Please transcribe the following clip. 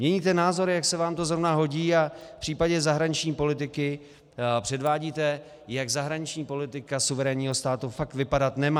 Měníte názory, jak se vám to zrovna hodí, a v případě zahraniční politiky předvádíte, jak zahraniční politika suverénního státu fakt vypadat nemá.